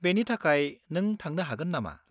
-बेनि थाखाय नों थांनो हागोन नामा?